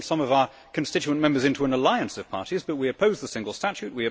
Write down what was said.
We form some of our constituent members into an alliance of parties but we oppose the single statute.